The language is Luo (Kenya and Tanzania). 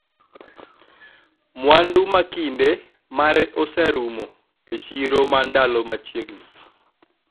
mwandu ma kinde mare oserumo e chiro ma ndalo machiegni